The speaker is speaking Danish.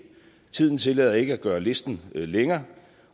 tiden tillader ikke at gøre listen længere